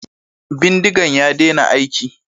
Bindigan ya dena aiki